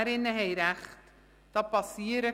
Die Motionärinnen haben recht: